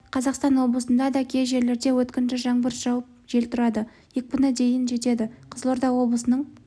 қазақстан облысында да кей жерлерде өткінші жаңбыр жауып жел тұрады екпіні дейін жетеді қызылорда облысының